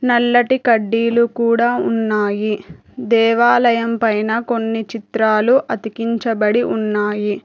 నల్లటి కడ్డీలు కూడా ఉన్నాయి దేవాలయం పైన కొన్ని చిత్రాలు అతికించబడి ఉన్నాయి.